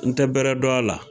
N tɛ bɛrɛ dɔn a la